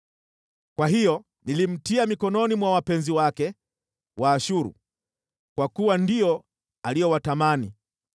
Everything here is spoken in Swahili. “Kwa hiyo nilimtia mikononi mwa wapenzi wake, Waashuru, kwa kuwa ndio aliowatamani.